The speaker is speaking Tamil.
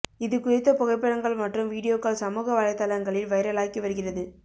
இது குறித்த புகைப்படங்கள் மற்றும் வீடியோக்கள் சமூக வலைதளங்களில் வைரலாகி வருகிறது